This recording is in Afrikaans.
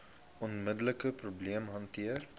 onmiddelike probleem hanteer